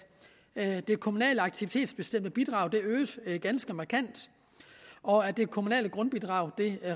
at det kommunale aktivitetsbestemte bidrag øges ganske markant og at det kommunale grundbidrag